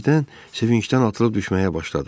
Birdən sevincdən atılıb düşməyə başladı.